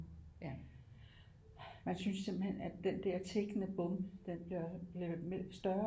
Man synes simpelthen at den der tikkende bombe den bliver større